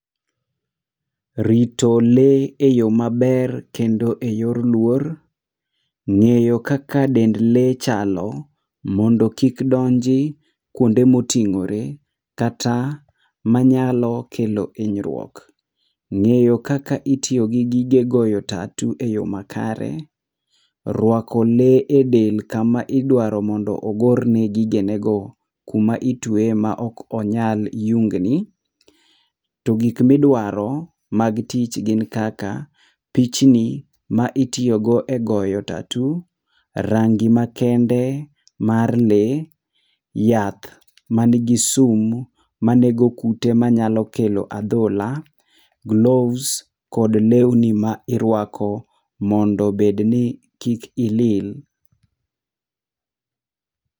Rito lee eyo maber kendo eyor luor, ng'eyo kaka dend lee chalo mondo kik donji kuonde moting'ore kata manyalo kelo hinyruok. Ng'eyo kaka itiyo gi gige goyo tatoo eyo makare, rwako le edel kama idwaro mondo ogor nee gigenego, kuma itueye maok onyal yung ni. To gik midwaro mag tich gin kaka pichni ma itiyo godo egoyo tatoo, rangi makende mar lee, yath man gi sum manego kute manyalo kelo adhola, gloves kod lewni ma iruako mondo obed ni kik ilil.